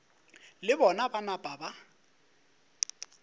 le bona ba napa ba